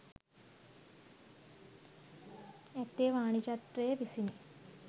ඇත්තේ වාණිජත්වය විසිනි.